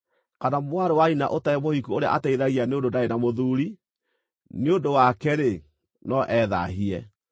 kana mwarĩ wa nyina ũtarĩ mũhiku ũrĩa ateithagia nĩ ũndũ ndarĩ na mũthuuri, nĩ ũndũ wake-rĩ, no ethaahie.